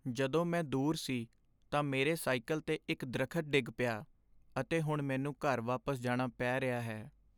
ਜਦੋਂ ਮੈਂ ਦੂਰ ਸੀ ਤਾਂ ਮੇਰੇ ਸਾਈਕਲ 'ਤੇ ਇੱਕ ਦਰੱਖਤ ਡਿੱਗ ਪਿਆ, ਅਤੇ ਹੁਣ ਮੈਨੂੰ ਘਰ ਵਾਪਸ ਜਾਣਾ ਪੈ ਰਿਹਾ ਹੈ।